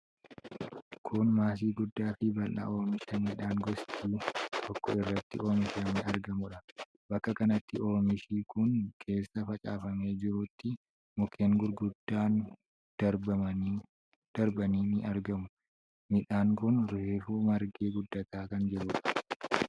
Kun maasii guddaa fi bal'aa oomisha midhaan gosi tokkoo irratti oomishamee argamuudha. Bakka kanatti oomishi kun keessa facaafamee jirutti mukkeen gurguddoon darbanii darbanii ni argamu. Midhaan kun reefuu margee guddataa kan jiruudha.